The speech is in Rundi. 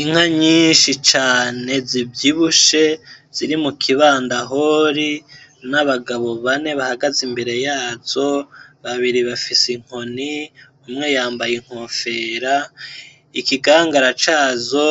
Inka nyinshi cane zivyibushe ziri mu kibandahori n’abagabo bane bahagaze imbere yazo, babiri bafise inkoni umwe yambaye inkofero, ikigangara cazo